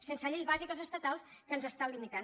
sense lleis bàsiques estatals que ens estan limitant